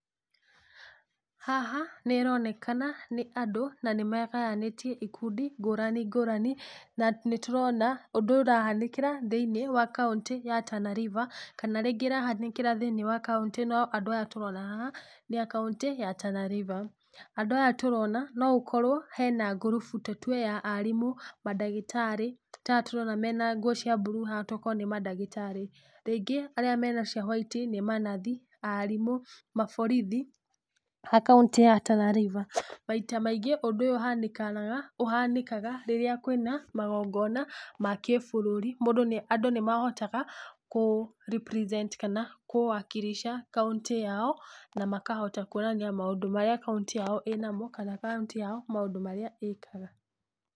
Haha, nĩronekana nĩ andũ, nanĩ megayanĩtie ikundi ngũrani ngũrani, na nĩtũrona, ũndũ ũrahanĩkĩra thĩ-inĩ wa kauntĩ ya Tana River, kana rĩngĩ ĩrahanĩkĩra thĩ-inĩ wa kauntĩ ĩno, andũ aya tũrona haha ni a kauntĩ ya Tana River, andũ aya tũrona, noũkorwo hena ngurubu tũtwe ya arimũ, mandagĩtarĩ, taya tũrona mena nguo cia blue haha toko nĩ mandagĩtarĩ, rĩngĩ arĩa mwena cia white nĩ manathi, arimũ, maborithi, a kauntĩ ya Tana River, maita maingĩ, ũndũ ũyũ ũhanĩkaga rĩrĩa kwĩna, magongona ma kĩbũrũri, mũndú nĩa, andũ nĩmahotaga kũ represent kana kũ wakilisha kauntĩ yao, na makahota kuonania maũndũ marĩa kauntĩ yao ĩnamo kana kauntĩ yao maũndũ marĩa ĩkaga.